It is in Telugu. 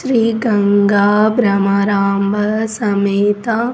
శ్రీ గంగ భ్రమరాంబ సమేత.